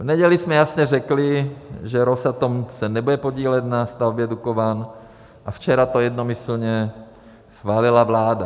V neděli jsme jasně řekli, že Rosatom se nebude podílet na stavbě Dukovan a včera to jednomyslně schválila vláda.